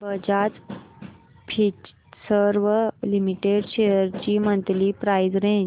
Bajaj Finserv limited shares ची monthly price range